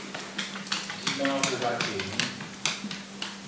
di na ho ba teng